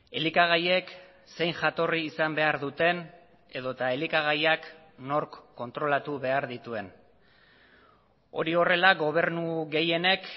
elikagaiek zein jatorri izan behar duten edota elikagaiak nork kontrolatu behar dituen hori horrela gobernu gehienek